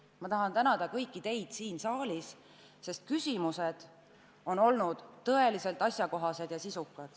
Ma tahan tänada kõiki teid siin saalis, sest küsimused on olnud tõesti asjakohased ja sisukad.